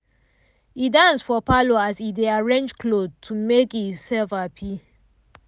e dance for parlour as e dey arrange cloth to make e self hapi.